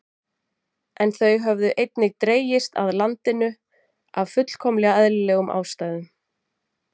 En þau höfðu einnig dregist að landinu af fullkomlega eðlilegum ástæðum.